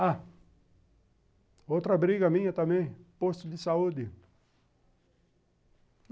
Ah, outra briga minha também, posto de saúde.